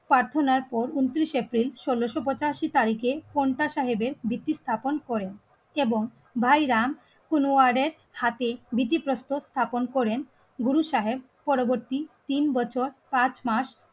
প্রার্থনার পর ঊনত্রিশ এপ্রিল ষোলশো পঁচাশি তারিখে পন্থা সাহেবের ভিত্তি স্থাপন করেন এবং ভাই রাম কোন ওয়ার্ডের সাথে ভিত্তিপ্রস্তর স্থাপন করেন গুরু সাহেব পরবর্তী তিন বছর পাঁচ মাস